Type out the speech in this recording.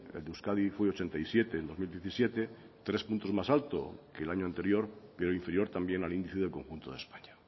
el de euskadi fue ochenta y siete en dos mil diecisiete tres puntos más alto que el año anterior pero inferior también al índice del conjunto de españa